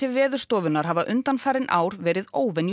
Veðurstofunnar hafa undanfarin ár verið